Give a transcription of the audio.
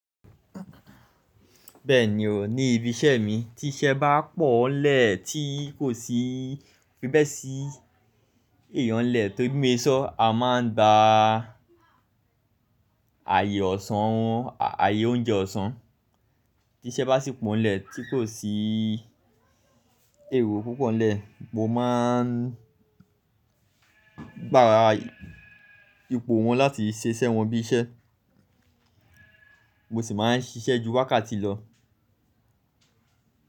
Bẹ́ẹ̀ ni o, ní ibi iṣẹ́ mi tí iṣẹ́ bá pò nlẹ̀ tí kò sí, fi bẹ́ sí èèyàn n lẹ̀, tó, bí mo se sọ́, a máa ń gba àyè ọ̀sán, àyè oúnjẹ ọ̀sán. Tí iṣẹ́ bá sì pò nlẹ̀ tí kò sí èrò púpọ̀ nlẹ̀, mo máa ń gbà ipò wọn láti ṣe iṣẹ́ wọn bí iṣẹ́, mo sì máa ń ṣiṣẹ́ ju wákàtí lọ.